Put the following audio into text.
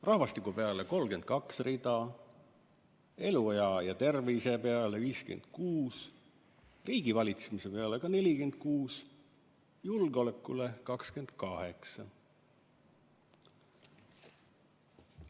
Rahvastiku peale 32 rida, eluea ja tervise peale 56, riigivalitsemise peale 46, julgeolekule 28.